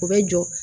U bɛ jɔ